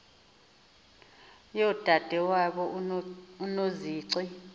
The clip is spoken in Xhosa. yodade wabo unozici